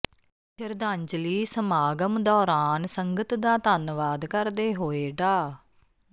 ਸ਼ਰਧਾਂਜਲੀ ਸਮਾਗਮ ਦੌਰਾਨ ਸੰਗਤ ਦਾ ਧੰਨਵਾਦ ਕਰਦੇ ਹੋਏ ਡਾ